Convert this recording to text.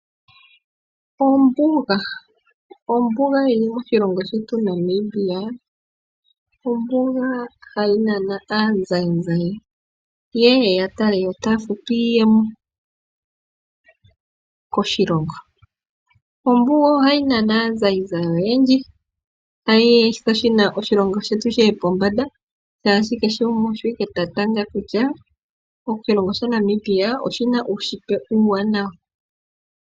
Ombuga yi li moshilongo shetu Namibia, ombuga hayi nana aazayizayi ye ye ya tale yo taya futu iiyemo koshilongo. Ombuga ohayi nana aazayizayi oyendji hayi etitha oshilongo shetu shi ye pombanda molwaashono kehe gumwe osho wala ta tanga kutya oshilongo shetu shaNamibia oshi na uunshitwe uuwanawa.